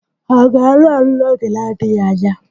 Ha ga-alụ alu n'oge na-adịghị anya?